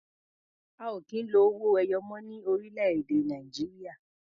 A ò kì í lo owó ẹyọ mọ́ ní orílẹ̀-èdè Nàìjíríà.